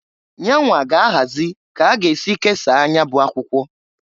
Yanwa ga -ahazi ka a ga-esi kesaa nya bụ akwụkwọ.